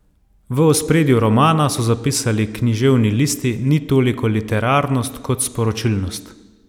V ospredju romana, so zapisali Književni listi, ni toliko literarnost kot sporočilnost.